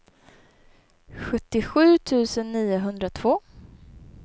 sjuttiosju tusen niohundratvå